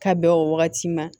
Ka bɛn o wagati ma